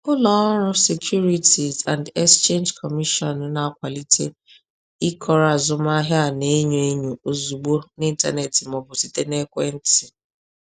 Ụlọ ọrụ Securities and Exchange Commission na-akwalite ịkọrọ azụmahịa a na-enyo enyo ozugbo n’ịntanetị ma ọ bụ site n’ekwentị.